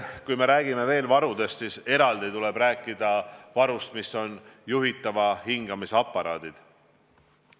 Kui me räägime veel varudest, siis eraldi tuleb rääkida juhitava hingamise aparaatidest.